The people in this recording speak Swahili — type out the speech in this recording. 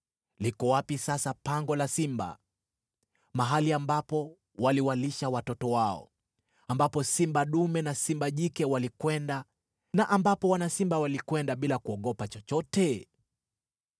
Liko wapi sasa pango la simba, mahali ambapo waliwalisha watoto wao, ambapo simba dume na simba jike walikwenda na ambapo wana simba walikwenda bila kuogopa chochote?